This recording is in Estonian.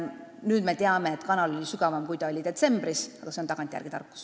Nüüd me teame, et kanal oli sügavam, kui ta oli detsembris, aga see on tagantjärele tarkus.